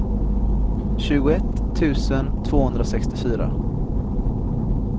tjugoett tusen tvåhundrasextiofyra